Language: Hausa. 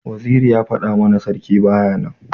Waziri ya fada mana sarki baya nan.